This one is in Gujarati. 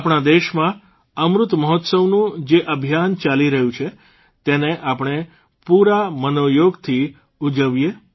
આપણા દેશમાં અમૃતમહોત્સવનું જે અભિયાન ચાલી રહ્યું છે તેને આપણે પૂરા મનોયોગથી ઉજવીએ